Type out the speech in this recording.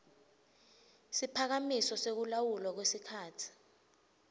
siphakamiso sekulawulwa kwesikhatsi